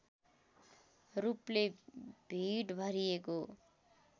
रूपले भीड भरिएको